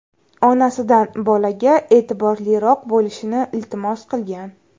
Onasidan bolaga e’tiborliroq bo‘lishini iltimos qilgan.